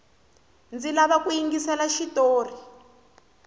ndzi lava ku yingisela xitori